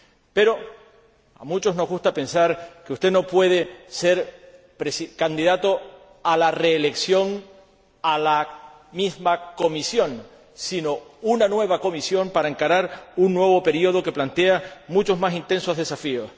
Pero a muchos nos gusta pensar que usted no puede ser candidato a la reelección para la misma Comisión sino una nueva Comisión a fin de encarar un nuevo período que plantea muchos y más intensos desafíos.